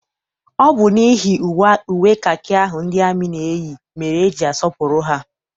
Ọ bụ n'ihi uwe kakị ahụ ndị amị na-eyi mere eji asọpụrụ ha.